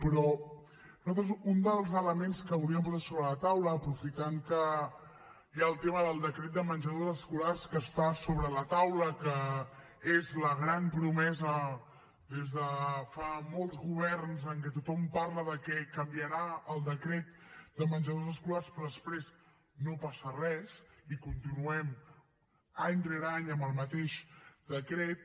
però nosaltres un dels elements que hauríem posat sobre la taula aprofitant que hi ha el tema del decret de menjadors escolars que està sobre la taula que és la gran promesa des de fa molts governs en què tothom parla de que canviarà el decret de menjadors escolars però després no passa res i continuem any rere any amb el mateix decret